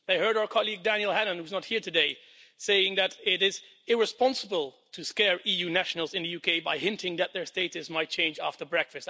They heard our colleague Daniel Hannan, who is not here today, say that it was irresponsible to scare EU nationals in the UK by hinting that their status might change after Brexit.